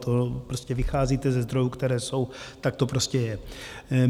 To prostě vycházíte ze zdrojů, které jsou, tak to prostě je.